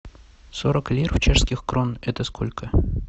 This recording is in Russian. сорок лир в чешских крон это сколько